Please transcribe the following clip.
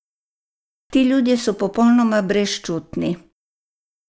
Ti ljudje so popolnoma brezčutni!